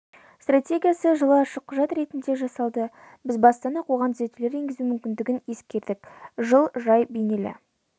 стратегиясы жылы ашық құжат ретінде жасалды біз бастан-ақ оған түзетулер енгізу мүмкіндігін ескердік жыл жай бейнелі